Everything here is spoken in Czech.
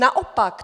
Naopak!